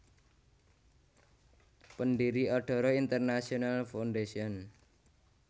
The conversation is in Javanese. Pendiri Adara International Foundation